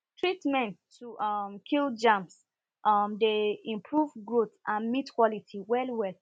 treatment to um kill germs um dey improve growth and meat quality well well